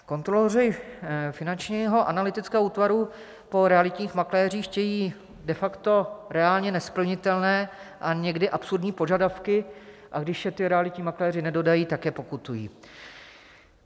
Kontroloři finančního analytického útvaru po realitních makléřích chtějí de facto reálně nesplnitelné a někdy absurdní požadavky, a když je ti realitní makléři nedodají, tak je pokutují.